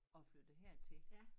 Og er flyttet hertil